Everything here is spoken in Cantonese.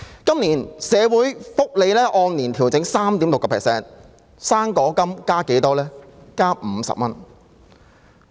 今年的社會福利援助金按年調整 3.6%，" 生果金"增加了多少？